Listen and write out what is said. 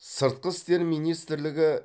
сыртқы істер министрлігі